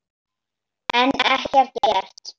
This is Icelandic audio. En ekkert gert.